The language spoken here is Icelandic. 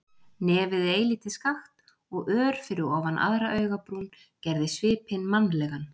Nefið eilítið skakkt og ör fyrir ofan aðra augabrún, gerði svipinn mannlegan.